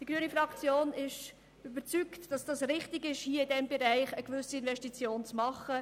Die grüne Fraktion ist vom Nutzen überzeugt, der aus Investitionen in diesem Bericht hervorgeht.